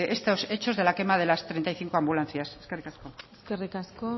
estos hechos de la quema de las treinta y cinco ambulancias eskerrik asko eskerrik asko